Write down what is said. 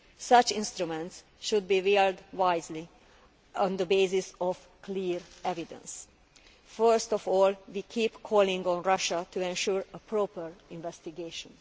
Such instruments should be wielded wisely on the basis of clear evidence. First of all, we keep calling on Russia to ensure a proper investigation.